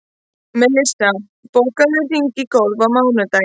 Melissa, bókaðu hring í golf á mánudaginn.